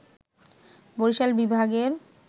বরিশাল বিভাগের